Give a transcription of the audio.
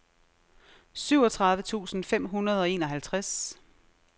syvogtredive tusind fem hundrede og enoghalvtreds